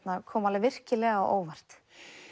kom virkilega á óvart